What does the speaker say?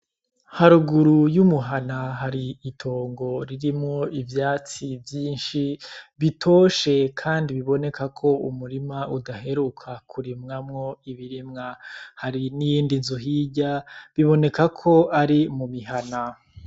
Haruguru y' umuhana hari itongo ririmwo ivyatsi vyinshi bitoshe kandi biboneka ko umurima udaheruka kurimwamwo ibirimwa hari n' iyindi nzu hirya biboneka ko ari mumihana.